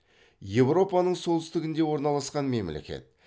еуропаның солтүстігінде орналасқан мемлекет